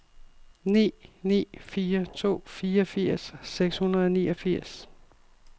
ni ni fire to fireogfirs seks hundrede og niogfirs